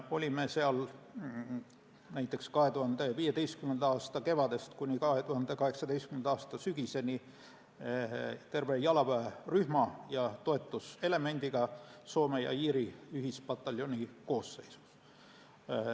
Olime seal näiteks 2015. aasta kevadest kuni 2018. aasta sügiseni terve jalaväerühma ja toetuselemendiga Soome-Iiri ühispataljoni koosseisus.